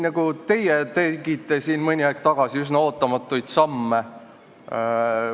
Ka teie tegite siin mõni aeg tagasi üsna ootamatuid samme.